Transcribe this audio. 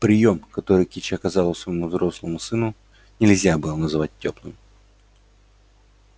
приём который кичи оказала своему взрослому сыну нельзя было назвать тёплым